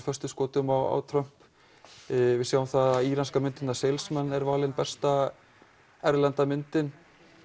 föstum skotum á Trump við sjáum það að íranska myndin var valin besta erlenda myndin